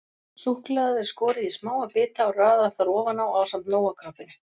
Súkkulaðið er skorið í smáa bita og raðað þar ofan á ásamt Nóa-kroppinu.